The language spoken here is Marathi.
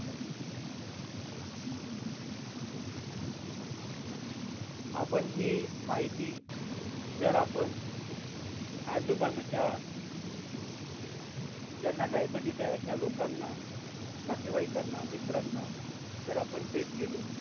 आपण ही माहिती जर आपण आजूबाजूच्या ज्यांना diabetes आहे अशा लोकांना नातेवाईकांना मित्रांना जर आपण देत गेलो